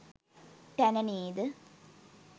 තැන නේද?